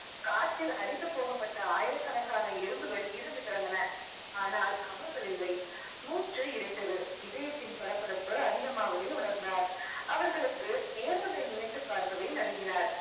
காற்றில் அடித்து போகப்பட்ட ஆயிரக்கணக்கான எறும்புகள் இறந்து கிடந்தன ஆனால் அவர்கள் இல்லை மூச்சு இறைத்தது இதயத்தின் படபடப்பு அதிகமாவதை உணர்ந்தார் அவர்களுக்கு நேர்வதை நினைச்சுப் பார்க்கவே நடுங்கினார்.